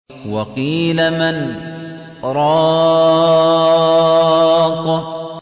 وَقِيلَ مَنْ ۜ رَاقٍ